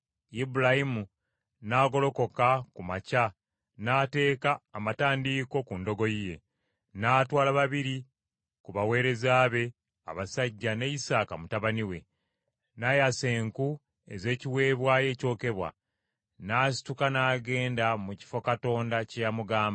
Ibulayimu n’agolokoka ku makya n’ateeka amatandiiko ku ndogoyi ye, n’atwala babiri ku baweereza be abasajja ne Isaaka mutabani we, n’ayasa enku ez’ekiweebwayo ekyokebwa, n’asituka n’agenda mu kifo Katonda kye yamugamba.